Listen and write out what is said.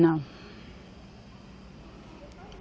Não.